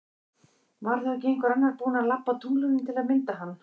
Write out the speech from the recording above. Var þá ekki einhver annar búin að labba á tunglinu til að mynda hann?